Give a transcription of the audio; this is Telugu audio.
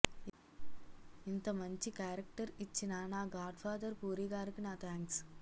ఇంత మంచి క్యారెక్టర్ ఇచ్చిన నా గాడ్ఫాదర్ పూరి గారికి నా థాంక్స్